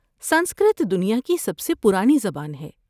سنسکرت دنیا کی سب سے پرانی زبان ہے۔